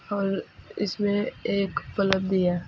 और इसमें एक प्लग भी है।